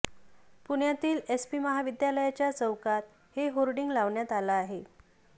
पुण्यातील एसपी महाविद्यालयाच्या चौकात हे होर्डिंग लावण्यात आलं आहे